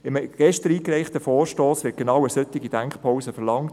In einem gestern eingereichten Vorstoss wird eine genau solche Denkpause verlangt.